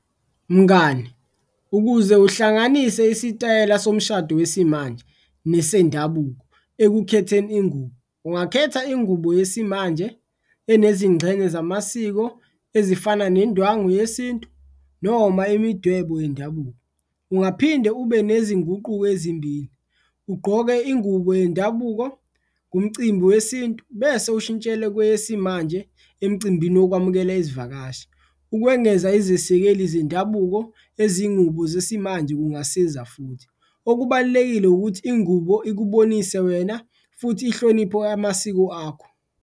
Mngani ukuze uhlanganise isitayela somshado wesimanje nesendabuko ekukhetheni ingubo, ungakhetha ingubo yesimanje enezingxenye zamasiko ezifana nendwangu yesintu noma imidwebo yendabuko. Ungaphinde ube nezinguquko ezimbili ugqoke ingubo yendabuko kumcimbi wesintu bese ushintshela kwesimanje emcimbini wokwamukela izivakashi, ukwengeza izesekeli zendabuko ezingubo zesimanje kungasiza futhi. Okubalulekile ukuthi ingubo ikubonise wena futhi inhloniphe amasiko akho.